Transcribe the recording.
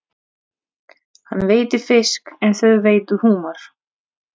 Hann veiddi fisk en þau veiddu humar.